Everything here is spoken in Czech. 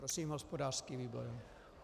Prosím hospodářský výbor.